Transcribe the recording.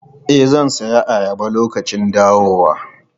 E, zan sayi ayaba lokacin dawowa.